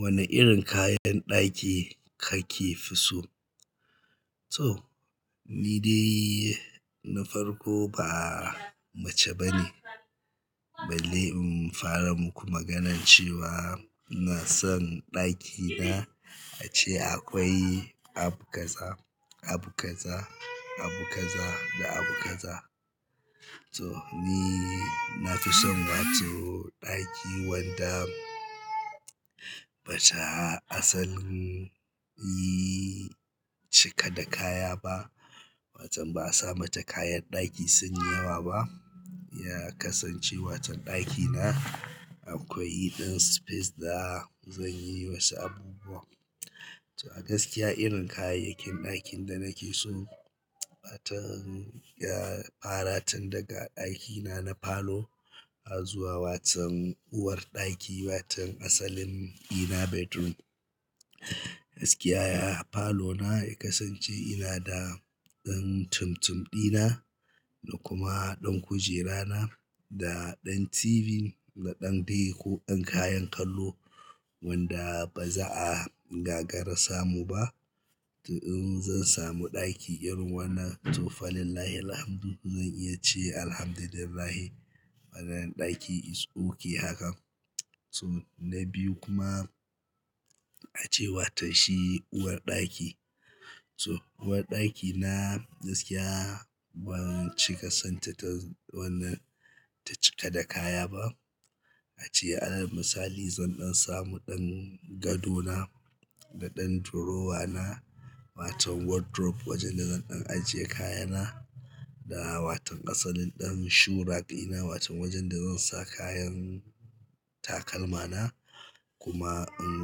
Wane irin kayan ɗaki kake fi so? To, ni dai na farko ba mace bane. Balle in fara muku maganar cewa ina son ɗakina, ace akwai abu kaza, abu kaza, abu kaza da abu kaza. To, ni na fi son wato ɗaki wanda bata asal yi cika da kaya ba. Watan ba'a sa mata kayan ɗaki sunyi yawa ba. Ya kasance watan ɗakina akwai ɗan space da zanyi wasu abubuwan. To a gaskiya irin kayayyakin ɗakin da nake so, baton ya fara tun daga ɗakina na falo, zuwa watan uwar ɗaki, watan asalin ina bedroom. Gaskiya ya, falona ya kasance ina da ɗan tumtum ɗina da kuma ɗan kujera na da ɗan TV da ɗan de ko ɗan kayan kallo wanda baza'a gagara samu ba. To in zan samu ɗaki irin wannan to fa lillahil hamdu, zan iya ce alhamdulillah. Maganan ɗaki it's okay haka. So na biyu kuma ace watan shi uwar ɗaki. So uwar ɗaki na gaskiya ban cika san ta wannan ta cika da kaya ba. Ace a misali zan ɗan samu ɗan gadona da ɗan drawer na, watan wardrobe wajen da zan ɗan ajiye kayana da waton asalin ɗan shoe rack dina watan wajen da zan saka kayan takalmana. Kuma in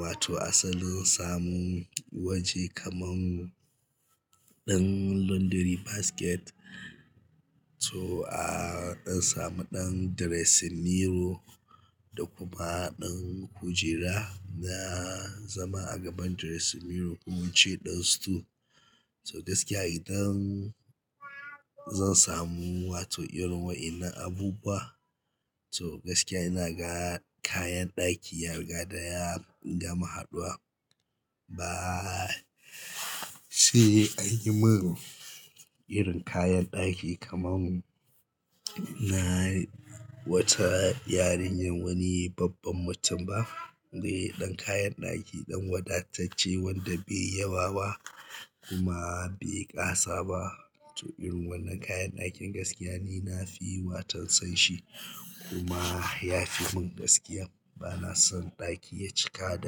wato asali samu waje kaman ɗan laundry basket. So a ɗan samu ɗan dressing mirror da kuma ɗan kujera na zama a gaban dressing mirror kuma ci ɗan stool. So gaskiya idan zan samu wato irin wa'inan abubuwa, so gaskiya ina ga kayan ɗaki yar gada ya gama haɗuwa. Ba sai anyi mun irin kayan ɗaki kaman na wata yarinya wani babban mutum ba. Gani ɗan kayan ɗaki ɗan wadatacce wanda bai yawa ba kuma bai ƙasa ba. To irin wannan kayan ɗakin gaskiya ni nafi watan son shi kuma ya fi mun gaskiya. Bana son ɗaki ya cika da.